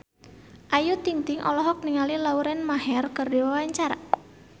Ayu Ting-ting olohok ningali Lauren Maher keur diwawancara